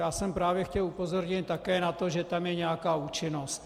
Já jsem právě chtěl upozornit také na to, že tam je nějaká účinnost.